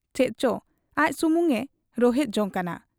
ᱪᱮᱫᱪᱚ ᱟᱡ ᱥᱩᱢᱩᱝ ᱮ ᱨᱚᱦᱮᱫ ᱡᱚᱝ ᱠᱟᱱᱟ ᱾